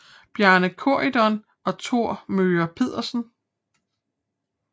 Bjarne Corydon og Thor Möger Pedersen